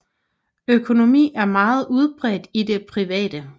Økonomi er meget udbredt i det private